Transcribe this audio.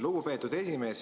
Lugupeetud juhataja!